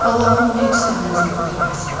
Allahım heç sənə əzab verməsin.